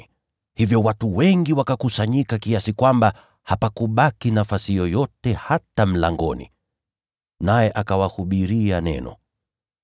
Hivyo watu wengi wakakusanyika kiasi kwamba hapakubaki nafasi yoyote hata mlangoni! Naye akawahubiria Neno.